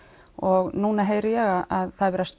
og núna heyri ég að